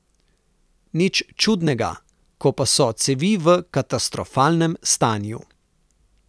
Nič čudnega, ko pa so cevi v katastrofalnem stanju.